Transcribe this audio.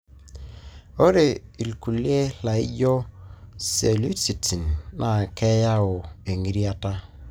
ore ilkulie laijio, cellulitis, na keyawua engitirata.